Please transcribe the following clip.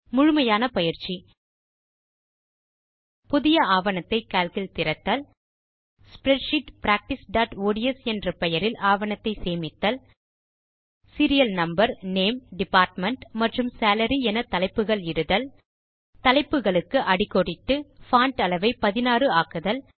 முழுமையான பயிற்சி புதிய ஆவணத்தை கால்க் இல் திறத்தல் ஸ்ப்ரெட்ஷீட் practiceஒட்ஸ் என்ற பெயரில் ஆவணத்தை சேமித்தல் சீரியல் நம்பர் நேம் டிபார்ட்மெண்ட் மற்றும் சாலரி என தலைப்புகள் இடுதல் தலைப்புகளுக்கு அடிக்கோடிட்டு பான்ட் அளவை 16 ஆக்குதல்